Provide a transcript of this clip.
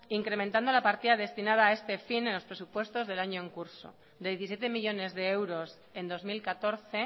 incrementando la partida destinada a este fin en los presupuestos del año en curso de diecisiete millónes de euros en dos mil catorce